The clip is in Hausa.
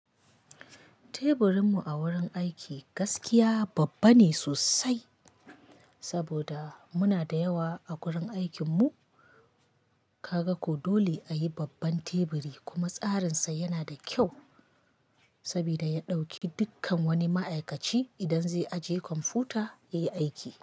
Teburin mu a wurin aiki gaskiya babba ne sosai, saboda muna da yawa a wurin aikin mu. Kaga ko dole ayi babban teburi kuma tsarin sa yana da kyau, sabida ya ɗauki dukkan wani ma'aikaci idan zai ajiye kwamfuta yayi aiki.